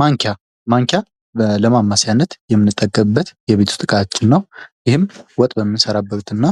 ማንኪያ ማንኪያ ለማማሰያነት የምንጠቀምበት የቤት ዉስጥ እቃችን ነው:: ይህም ወጥ በምንሰራበት እና